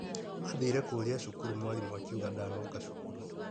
Mathire kũria cukuru mwarimũ akiuga ndanoka cukuru.